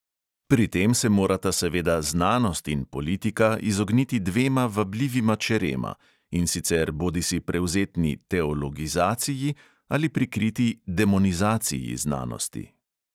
Pri tem se morata seveda znanost in politika izogniti dvema vabljivima čerema: in sicer bodisi prevzetni "teologizaciji" ali prikriti "demonizaciji" znanosti.